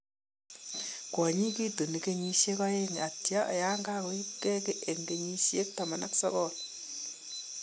Kwanyiik kitunii kenyisyeek aeng atya yanka ko ibkeey en kenyiitab 19.